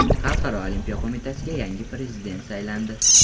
Xalqaro Olimpiya Qo‘mitasiga yangi prezident saylandi.